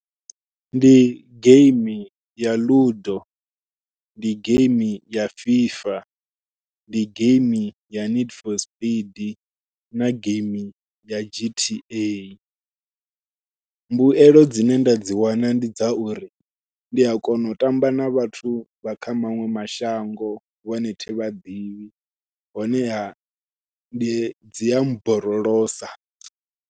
Ndi geimi ya Ludo, ndi geimi ya FIFA, ndi geimi ya need for spend, na geimi ya g_t_a mbuyelo dzine nda dzi wana ndi dza uri ndi a kona u tamba na vhathu vha kha maṅwe mashango vhane thi vhaḓivhi honeha ndi dzi a borolosa.